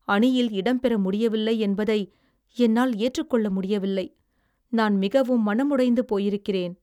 அணியில் இடம் பெற முடியவில்லை என்பதை என்னால் ஏற்று கொள்ள முடியவில்லை. நான் மிகவும் மனமுடைந்து போயிருக்கிறேன்